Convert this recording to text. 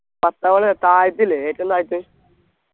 പത്താം വളവ് താഴത്തില്ലേ ഏറ്റവും താഴത്ത്